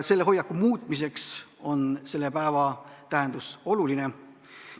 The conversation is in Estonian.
Selle hoiaku muutmiseks on selle päeva tähendus oluline.